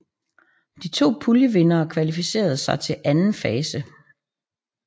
De to puljevindere kvalificerer sig til anden fase